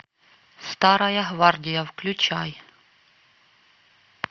старая гвардия включай